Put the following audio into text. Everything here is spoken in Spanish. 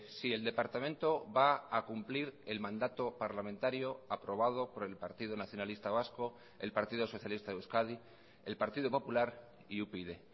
si el departamento va a cumplir el mandato parlamentario aprobado por el partido nacionalista vasco el partido socialista de euskadi el partido popular y upyd